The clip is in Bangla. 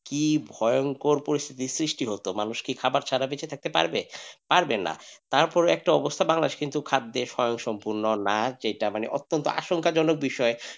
কি ভয়ঙ্কর পরিস্থিতির সৃষ্টি হতো মানুষ কি খাবার ছাড়া বেঁচে থাকতে পারবে? পারবে না। তারপর একটা অবস্থা বাংলাদেশ কিন্তু খাদ্যে স্বয়ংসম্পূর্ণ না যেটা মানে অত্যন্ত আসল কাজ হলো।